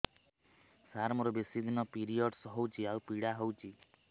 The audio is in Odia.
ସାର ମୋର ବେଶୀ ଦିନ ପିରୀଅଡ଼ସ ହଉଚି ଆଉ ପୀଡା ହଉଚି